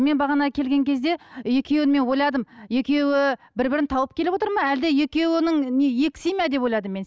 мен бағана келген кезде екеуін мен ойладым екеуі бір бірін тауып келіп отыр ма әлде екеуінің не екі семья деп ойладым мен